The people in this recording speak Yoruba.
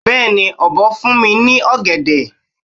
Beeni obo fun mi ni ogede